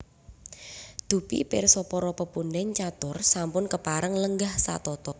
Dupi pirsa para pepundhen catur sampun kepareng lenggah satata